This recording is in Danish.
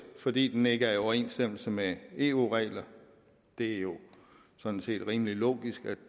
fordi den ikke er i overensstemmelse med eu reglerne det er jo sådan set rimelig logisk at